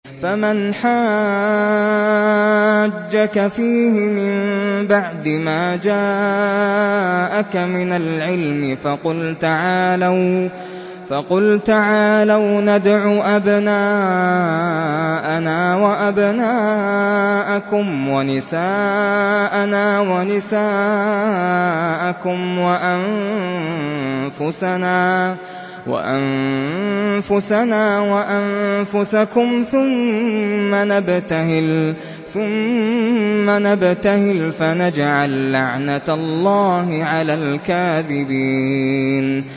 فَمَنْ حَاجَّكَ فِيهِ مِن بَعْدِ مَا جَاءَكَ مِنَ الْعِلْمِ فَقُلْ تَعَالَوْا نَدْعُ أَبْنَاءَنَا وَأَبْنَاءَكُمْ وَنِسَاءَنَا وَنِسَاءَكُمْ وَأَنفُسَنَا وَأَنفُسَكُمْ ثُمَّ نَبْتَهِلْ فَنَجْعَل لَّعْنَتَ اللَّهِ عَلَى الْكَاذِبِينَ